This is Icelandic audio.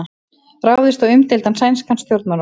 Ráðist á umdeildan sænskan stjórnmálamann